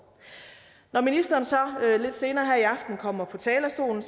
når ministeren så lidt senere her i aften kommer på talerstolen